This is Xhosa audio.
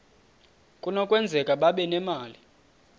kunokwenzeka babe nemali